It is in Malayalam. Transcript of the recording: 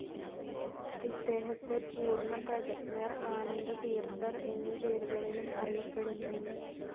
ഇദ്ദേഹത്തെ പൂർണ്ണപ്രജ്ഞർ, ആനന്ദതീർത്ഥർ എന്നീ പേരുകളിലും അറിയപ്പെടുന്നു.